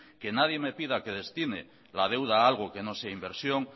que nadie me pida que destine la deuda a algo que no sea inversión